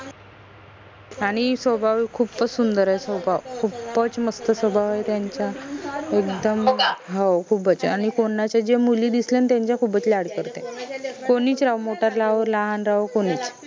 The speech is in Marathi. आनि स्वभाव खूपच सुंदर आहे स्वभाव खूपच मस्त स्वभाव आहे त्याचा एकदम हो खूपच आनि कोनाचे जे मुली दिसल्यानं त्यांचा खूपच लाड करते कोनीच राहो मोठा राहो लहान राहो कोनीच